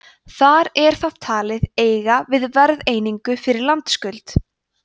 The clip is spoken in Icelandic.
þar er það talið eiga við verðeiningu fyrir landskuld